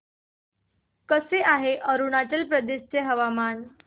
कसे आहे अरुणाचल प्रदेश चे हवामान